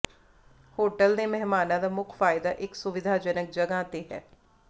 hotel ਦੇ ਮਹਿਮਾਨਾਂ ਦਾ ਮੁੱਖ ਫਾਇਦਾ ਇੱਕ ਸੁਵਿਧਾਜਨਕ ਜਗ੍ਹਾ ਤੇ ਹੈ